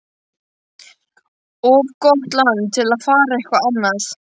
Of gott land til að fara eitthvað annað.